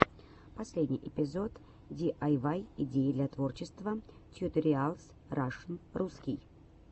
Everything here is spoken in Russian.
последний эпизод диайвай идеи для творчества тьюториалс рашн русский